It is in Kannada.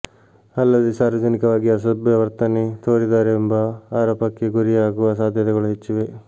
ಅಲ್ಲದೇ ಸಾರ್ವಜನಿಕವಾಗಿ ಅಸಭ್ಯ ವರ್ತನೆ ತೋರಿದರೆಂಬ ಆರೋಪಕ್ಕೆ ಗುರಿಯಾಗುವ ಸಾಧ್ಯತೆಗಳು ಹೆಚ್ಚಿವೆ